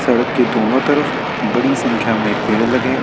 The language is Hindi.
पेड़ के दोनों तरफ बड़ी संख्या में पेड़ लगे हैं।